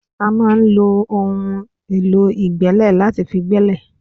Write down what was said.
A máa ń lo ohun èlò ìgbẹ́lẹ̀ láti fi gbẹ́lẹ̀